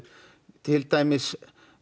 til dæmis